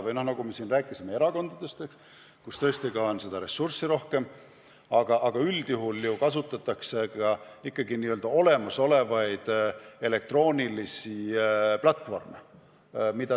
Me rääkisime siin näiteks erakondadest, kellel tõesti on ressurssi rohkem, aga üldjuhul ju kasutatakse ikkagi olemasolevaid elektroonilisi platvorme.